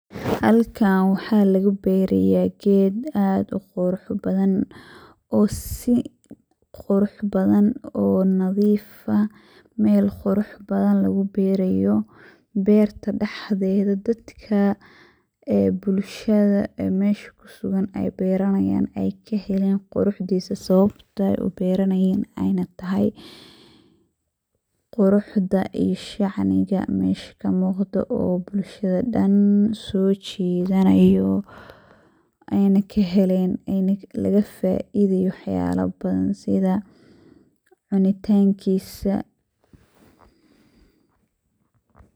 Xaalkan waxa laguberaya qed ad uqurux badan,o sii qurux badan oo nadiif ah, mel qurux badan laguberayo berta daxdedha, dadka ee bulshadha ee mesha kusugan ay beranayan ay kaxelen quruxdhisa, sawabto uberanayen anya taxay, quruxda iyo shacniga mesha kamuqdo oo bulshada dan sojidhanayo, eyna kaxeleen, ena lagafaidayo waxyala badan, sidha cunitankisa .